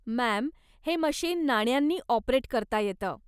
Ma'am, हे machine नाण्यांनी operate करता येतं.